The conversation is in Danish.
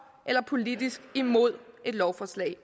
eller politisk imod et lovforslag at